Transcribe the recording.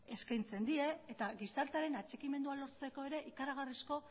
eskaintzen die eta gizartearen atxikimendua lortzeko ere ikaragarrizko